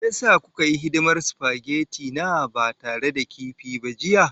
Me ya sa kuka yi hidimar supageti na ba tare da kifi ba jiya?